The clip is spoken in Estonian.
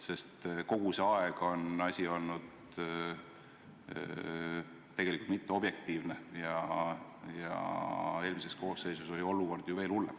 Sest kogu see aeg on asi olnud tegelikult mitteobjektiivne ja eelmises koosseisus oli olukord ju veel hullem.